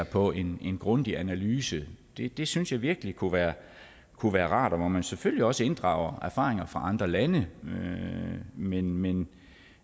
på en en grundig analyse det det synes jeg virkelig kunne være kunne være rart og hvor man selvfølgelig også inddrager erfaringer fra andre lande men men